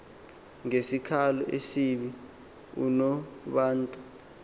ngesikhalo esibi unobantu